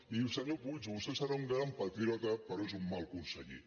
i senyor puig vostè serà un gran patriota però és un mal conseller